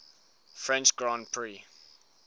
french grand prix